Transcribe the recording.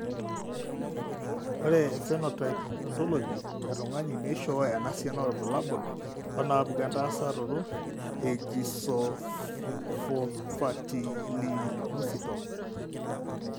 Ore ephenotype ontology etung'ani neishooyo enasiana oorbulabul onaapuku entasato eGlycosylphosphatidylinositol.